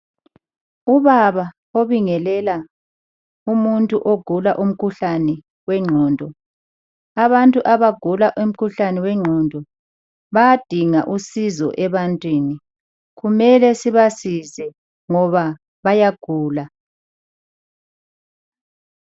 Ubaba obingelela umuntu ogula umkhuhlane wengqondo, abantu abagula umkhuhlane wengqondo bayadinga usizo ebantwini kumele sibasize ngoba bayagula.